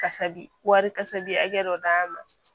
Kasabi wari kasabi hakɛ dɔ d'an ma